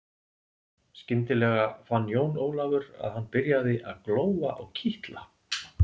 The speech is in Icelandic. Skyndilega fann Jón Ólafur að hann byrjaði að glóa og kitla.